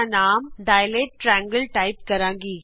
ਮੈੰ file ਦਾ ਨਾਮ dilate triangle type ਕਰਾਂਗੀ